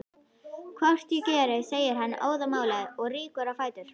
Hvort ég geri, segir hann óðamála og rýkur á fætur.